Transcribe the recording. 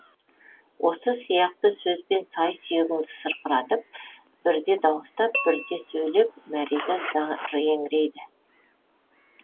осы сияқты сөзбен сай сүйегіңді сырқыратып бірде дауыстап бірде сөйлеп мәриза зар еңірейді